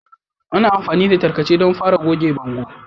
Ana amfani da tarkace don fara goge bangon